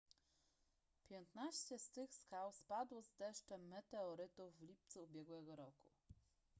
piętnaście z tych skał spadło z deszczem meteorytów w lipcu ubiegłego roku